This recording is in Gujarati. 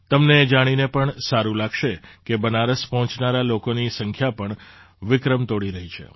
તમને એ જાણીને પણ સારું લાગશે કે બનારસ પહોંચનારા લોકોની સંખ્યા પણ વિક્રમ તોડી રહી છે